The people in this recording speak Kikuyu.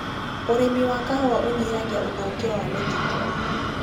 ũrĩmi wa kahũa ũnyihagia ũthũkia wa mĩtitũ.